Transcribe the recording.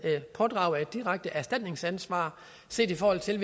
pådrage sig et direkte erstatningsansvar set i forhold til